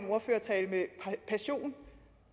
en ordførertale med passion